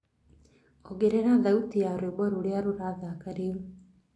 ongerera thaũtĩ ya rwĩmbo rũrĩa rurathaka riu